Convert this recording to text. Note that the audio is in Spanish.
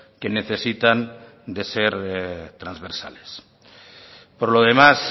que necesitan de ser transversales por lo demás